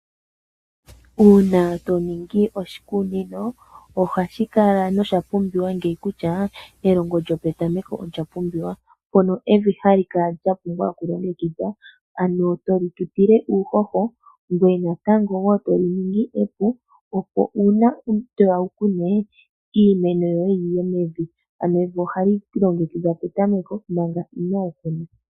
Uuna to ningi oshikunino ohashi kala nosha pumbiwa kutya elongo lyopetameko olyapumbiwa. Evi ohali kala lyapumbwa okulongekidhwa tali tutilwa uuhoho natango tali ningwa epu opo uuna toya wu kune iimeno yoye yiye mevi. Ano evi ohali longekidhwa tango manga inaali kunwa.